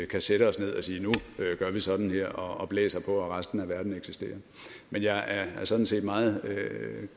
kan sætte os ned og sige nu gør vi sådan her og blæser på at resten af verden eksisterer men jeg er sådan set meget